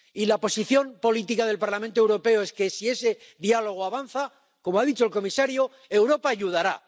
Y la posición política del Parlamento Europeo es que si ese diálogo avanza ―como ha dicho el comisario―, Europa ayudará.